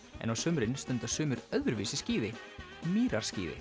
en á sumrin stunda sumir öðruvísi skíði